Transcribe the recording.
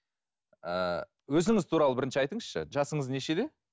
ыыы өзіңіз туралы бірінші айтыңызшы жасыңыз нешеде